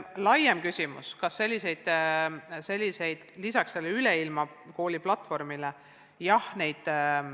Nüüd küsimus, kas lisaks sellele Üleilmakooli platvormile on veel midagi.